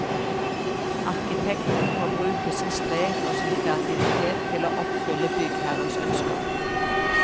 Arkitekten må bruke sin strek og sin kreativitet til å oppfylle byggherrens ønsker.